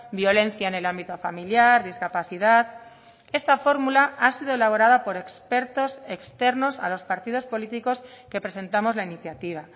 violencia en el ámbito familiar discapacidad esta fórmula ha sido elaborada por expertos externos a los partidos políticos que presentamos la iniciativa